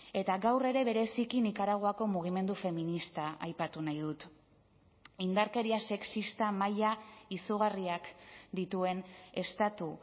eta gaur ere bereziki nikaraguako mugimendu feminista aipatu nahi dut indarkeria sexista maila izugarriak dituen estatu